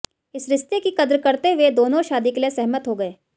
इस रिश्ते की कद्र करते हुए दोनों शादी के लिए सहमत हो गए